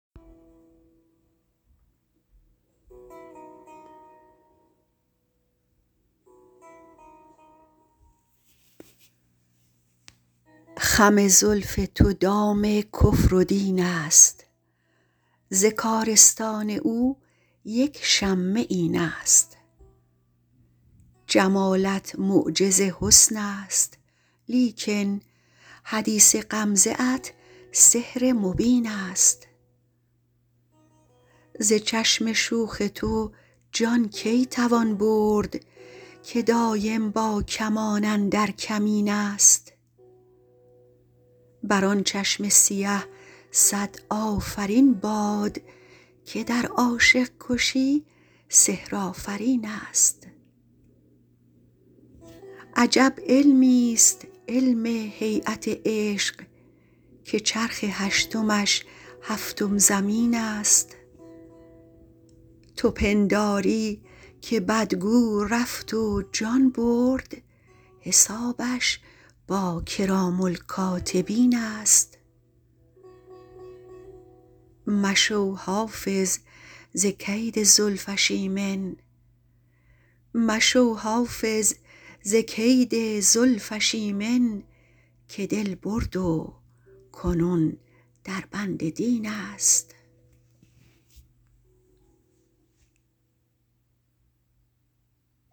خم زلف تو دام کفر و دین است ز کارستان او یک شمه این است جمالت معجز حسن است لیکن حدیث غمزه ات سحر مبین است ز چشم شوخ تو جان کی توان برد که دایم با کمان اندر کمین است بر آن چشم سیه صد آفرین باد که در عاشق کشی سحرآفرین است عجب علمیست علم هییت عشق که چرخ هشتمش هفتم زمین است تو پنداری که بدگو رفت و جان برد حسابش با کرام الکاتبین است مشو حافظ ز کید زلفش ایمن که دل برد و کنون در بند دین است